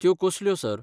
त्यो कसल्यो, सर?